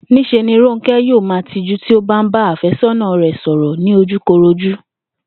Ní s̩e ni Rónké̩ yóò máa tijú tí ó bá ń bá àfé̩só̩nà rè̩ sò̩rò̩ lójúkorojú